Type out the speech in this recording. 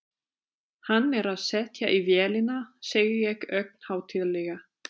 Hann er að setja í vélina, segi ég ögn hátíðlega.